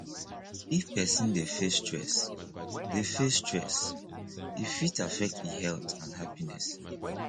if person dey face stress dey face stress e fit affect e health and happiness